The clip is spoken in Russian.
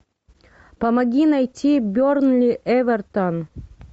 помоги найти бернли эвертон